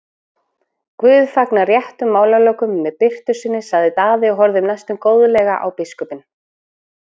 Guð fagnar réttum málalokum með birtu sinni, sagði Daði og horfði næstum góðlega á biskupinn.